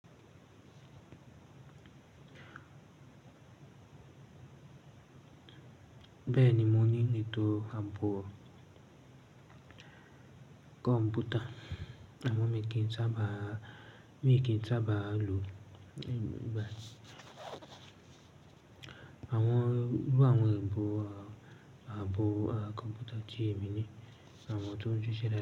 Bẹ́ẹ̀ni, mo ní ìnetò ààbò kọ̀ǹpútà àmo mì kì í sábà, mi kì í sábà lò nígbàtí. Àwọn, irú àwọn ìbò ààbò kọ̀ǹpútà tí èmi ní ni àwọn tó n síse.